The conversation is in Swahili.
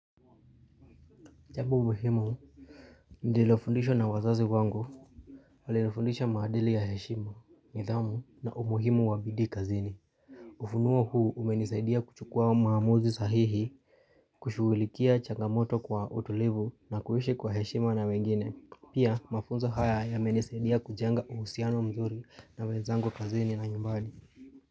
Jambo muhimu nililofundishwa na wazazi wangu Walinifundisha maadili ya heshima, nidhamu na umuhimu wa bidii kazini ufunuo huu umenisaidia kuchukua maamuzi sahihi kushugulikia changamoto kwa utulivu na kuishi kwa heshima na wengine. Pia mafunzo haya yamenisaidia kujenga uhusiano mzuri na wenzangu kazini na nyumbani.